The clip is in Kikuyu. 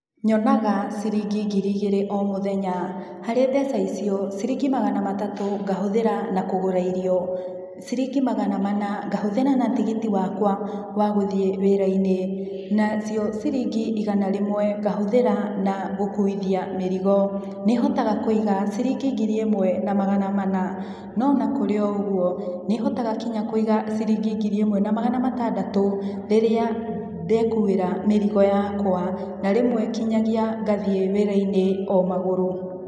Nyonaga ciringi ngiri igĩrĩ o mũthenya. Harĩ mbeca icio, ciringi magana matatũ ngahũthĩra na kũgũra irio, ciringi magana mana ngahũthĩra na tigiti wa gũthiĩ wĩra-inĩ na cio ciringi igana rĩmwe ngahũthĩra na gũkuithia mĩrigo. Nĩhotaga kũiga ciringi ngiri ĩmwe na magana mana, no o na kũrĩ ũguo nĩhotaga Kũiga nginya ciringi ngiri ĩmwe na magana matandatũ rĩrĩa ndekuĩra mĩrigo yakwa na rĩmwe nginyagia ngathiĩ wĩra-inĩ o magũrũ.